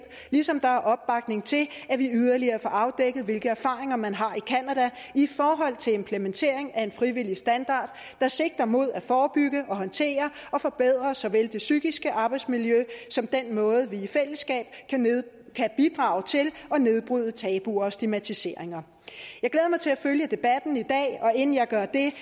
ligesom der er opbakning til at vi yderligere får afdækket hvilke erfaringer man har fået i canada i forhold til implementering af en frivillig standard der sigter mod at forebygge og håndtere og forbedre såvel det psykiske arbejdsmiljø som den måde vi i fællesskab kan bidrage til at nedbryde tabuer og stigmatiseringer jeg glæder mig til at følge debatten i dag og inden jeg gør det